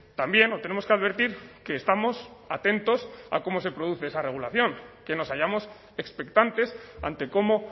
también lo tenemos que advertir que estamos atentos a cómo se produce esa regulación que nos hallamos expectantes ante cómo